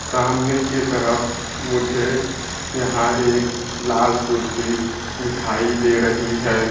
सामने की तरफ मुझे यहां एक लाल कुर्सी दिखाई दे रही है।